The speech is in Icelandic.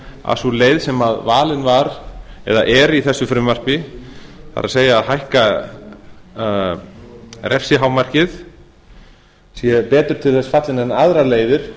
að sú leið sem valin var eða er í þessu frumvarpi það er að hækka refsihámarkið sé betur til þess fallin en aðrar leiðir